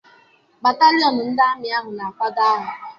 Batalịọn ndị amị ahụ na-akwado agha.